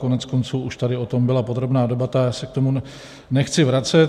Koneckonců už tady o tom byla podrobná debata, já se k tomu nechci vracet.